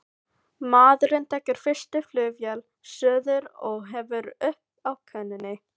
Maðurinn tekur fyrstu flugvél suður og hefur upp á konunni.